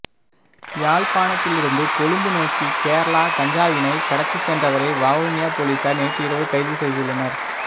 யாழ்ப்பாணத்திலிருந்து கொழும்பு நோக்கி கேரளா கஞ்சாவினை கடத்தி சென்றவரை வவுனியா பொலிஸார் நேற்று இரவு கைது செய்துள்ளனர்